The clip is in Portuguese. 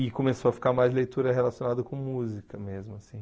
E começou a ficar mais leitura relacionada com música mesmo, assim.